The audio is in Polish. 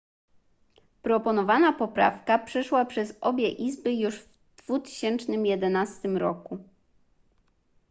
proponowana poprawka przeszła przez obie izby już w 2011 roku